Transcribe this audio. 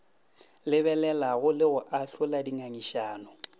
lebelelago le go ahlola dingangišano